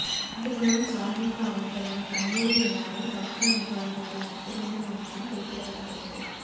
ஆண்டுதோறும் சாகிபு அவர்களின் கந்துாரி விழாவை தர்கா நிர்வாகிகள் நடத்தவேண்டும் என்றும் குறிப்பிடப்பட்டுள்ளது